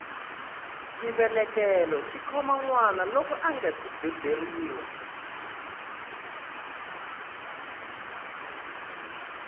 xivelekelo xikhoma nwana loko angasi beburiwa